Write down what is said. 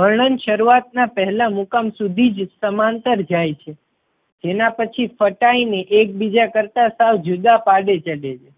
વર્ણન શરૂઆત ના પહેલા મુકામ સુધી જ સમાંતર જાય છે તેના પછી ફટાઈ ને એકબીજા કરતાં સાવ જુદા પાડી દે છે